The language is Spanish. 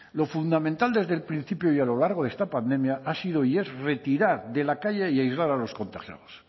lo fundamental desde el principio y a lo largo de esta pandemia ha sido y es retirar de la calle y aislar a los contagiados